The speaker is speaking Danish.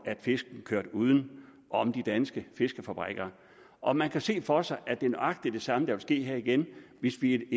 at fisken kørte uden om de danske fiskefabrikker og man kan se for sig at det er nøjagtig det samme der vil ske igen hvis vi